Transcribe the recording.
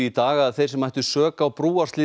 í dag að þeir sem ættu sök á